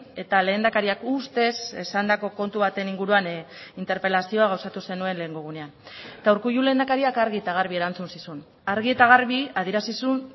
eta lehendakariak ustez esandako kontu baten inguruan interpelazioa gauzatu zenuen lehengo egunean eta urkullu lehendakariak argi eta garbi erantzun zizun argi eta garbi adierazi zuen